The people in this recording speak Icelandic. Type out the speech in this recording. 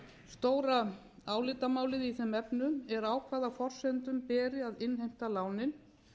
stóra álitamálið í þeim efnum er á hvaða forsendum beri að innheimta lánin